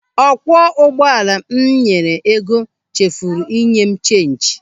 Ọkwọ ụgbọala m nyere ego chefuru inye m cheenji.